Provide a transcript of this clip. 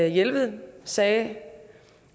jelved sagde